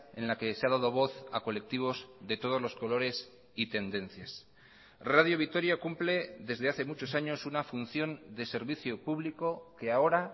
en la que se ha dado voz a colectivos de todos los colores y tendencias radio vitoria cumple desde hace muchos años una función de servicio público que ahora